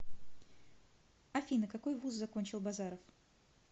афина какой вуз закончил базаров